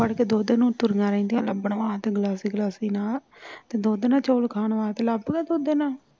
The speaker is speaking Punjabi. ਫੜ ਕੇ ਦੁਧ ਨੂੰ ਤੁਰੀਆਂ ਰਹਿੰਦੀਆਂ ਲਭਣ ਵਾਸਤੇ ਗਲਾਸੀ ਗਲਾਸੀ ਨਾਲ ਤੇ ਦੁੱਧ ਦੇ ਨਾਲ ਚੌਲ ਖਾਣ ਵਾਸਤੇ ਲਭਦਾ ਦੁਧ ਇਹਨਾਂ ਨੂੰ